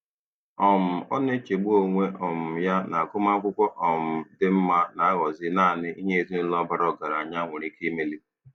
um Ọ na-echegbu onwe um ya na agụmakwụkwọ um dị mma na-aghọzi naanị ihe ezinụụlọ bara ọgaranya nwere ike imeli.